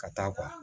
Ka taa